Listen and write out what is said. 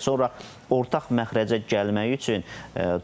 Sonra ortaq məxrəcə gəlmək üçün